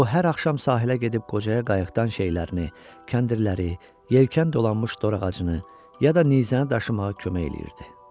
O hər axşam sahilə gedib qocaya qayıqdan şeylərini, kəndirləri, yelkən dolanmış dorağacını, ya da nizəni daşımağa kömək eləyirdi.